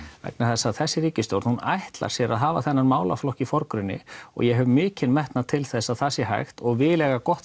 vegna þess að þessi ríkisstjórn ætlar sér að hafa þennan málaflokk í forgrunni og ég hef mikinn metnað til þess að það sé hægt og vil eiga gott